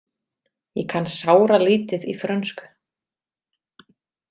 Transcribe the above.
Ég kann sáralítið í frönsku.